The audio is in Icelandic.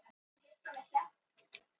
Þetta er Álfaborgin.